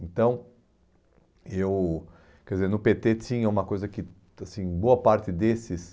Então, eu... Quer dizer, no pê tê tinha uma coisa que, assim, boa parte desses...